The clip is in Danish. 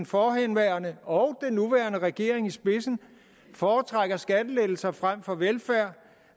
forhenværende og den nuværende regering i spidsen foretrækker skattelettelser frem for velfærd